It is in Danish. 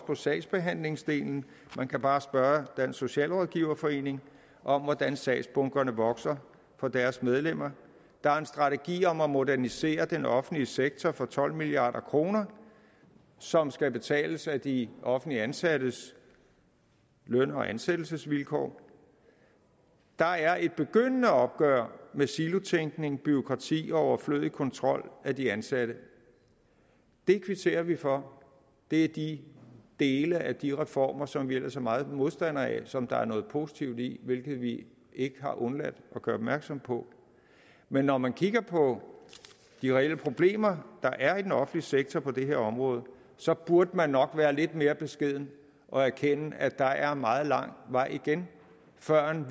på sagsbehandlingsdelen man kan bare spørge dansk socialrådgiverforening om hvordan sagsbunkerne vokser for deres medlemmer der er en strategi om at modernisere den offentlige sektor for tolv milliard kr som skal betales af de offentligt ansattes løn og ansættelsesvilkår der er også et begyndende opgør med silotænkning bureaukrati og overflødig kontrol af de ansatte det kvitterer vi for det er de dele af de reformer som vi ellers er meget modstandere af som der er noget positivt i hvilket vi ikke har undladt at gøre opmærksom på men når man kigger på de reelle problemer der er i den offentlige sektor på det her område så burde man nok være lidt mere beskeden og erkende at der er meget lang vej igen førend